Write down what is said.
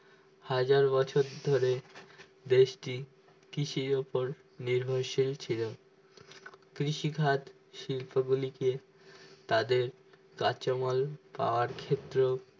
হাজার বছর ধরে দেশটি কৃষির উপর নির্ভরশীল ছিল কৃষিখাদ শিল্পগুলিকে তাদের কাঁচামাল পাওয়ার ক্ষেত্রে